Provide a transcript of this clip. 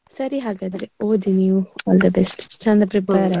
ಸರಿ ಹಾಗಾದ್ರೆ ಓದಿ ನೀವು all the best ಚೆಂದ prepare ಆಗಿ.